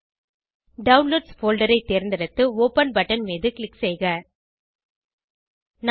downloads folder ஐ தேர்ந்தெடுத்து open button மீது க்ளிக் செய்க